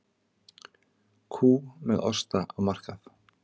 Kú með osta á markað